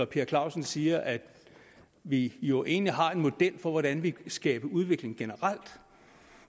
per clausen siger at vi jo egentlig har en model for hvordan vi kan skabe udvikling generelt